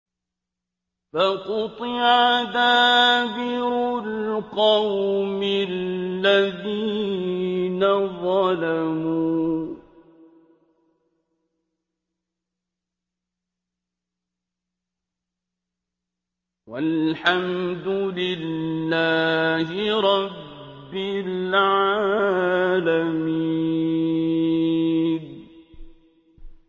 فَقُطِعَ دَابِرُ الْقَوْمِ الَّذِينَ ظَلَمُوا ۚ وَالْحَمْدُ لِلَّهِ رَبِّ الْعَالَمِينَ